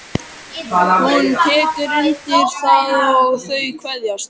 Hún tekur undir það og þau kveðjast.